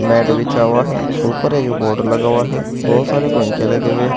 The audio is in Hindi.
मैट बिछा हुआ है ऊपर एक बोर्ड लगा हुआ है बहोत सारे पंखे लगे हुए--